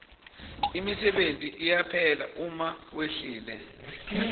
imisebenti iyaphela uma wehlile